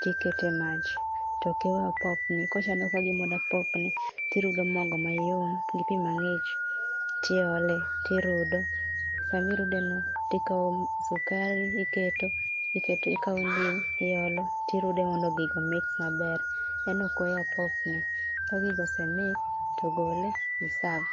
tikete mach. Tok iwe opopni. Kochalo ka gima odwa popni tirudo mogo mayom, gi pi mang'ich, tiole, tirudo. Sama irude no tikao sukari iketo, ikete ikao ndim iolo, tirude mondo gigo o mix maber. En ok onyal popni. Ka gigo ose mix to gole i serve.